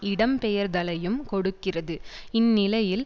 இடம் பெயர்தலையும் கொடுக்கிறது இந்நிலையில்